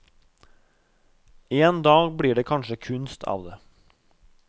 En dag blir det kanskje kunst av det.